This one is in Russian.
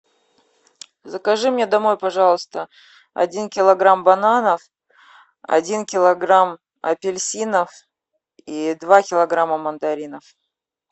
закажи мне домой пожалуйста один килограмм бананов один килограмм апельсинов и два килограмма мандаринов